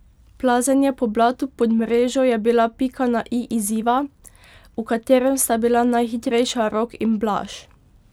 Plazenje po blatu pod mrežo je bila pika na i izziva, v katerem sta bila najhitrejša Rok in Blaž.